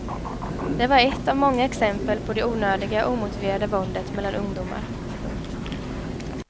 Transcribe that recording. Det var ett av många exempel på det onödiga och omotiverade våldet mellan ungdomar. punkt